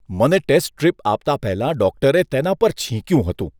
મને test strip આપતા પહેલા ડૉક્ટરે તેના પર છીંક્યું હતું.